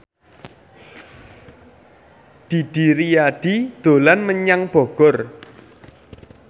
Didi Riyadi dolan menyang Bogor